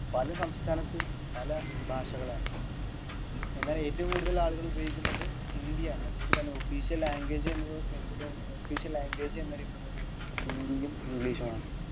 പല സംസ്ഥാനത്തും പല ഭാഷകളാണ് എന്നാൽ ഏറ്റവും കൂടുതൽ ആളുകൾ ഉപയോഗിക്കുന്നത് ഹിന്ദി ആണ്അതുകൊണ്ട് തന്നെ official language എന്ന് എനിക്ക് തോന്നുന്നത് official language എന്നറിയപ്പെടുന്നത് ഹിന്ദിയും english ഉം ആണ്